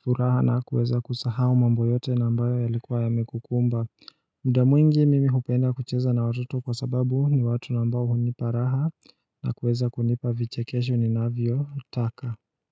furaha na kueza kusahau mambo yote na ambay yalikuwa yamekukumba muda mwingi mimi hupenda kucheza na watoto kwa sababu ni watu na ambao hunipa raha na kuweza kunipa vichekesho ni navyo taka.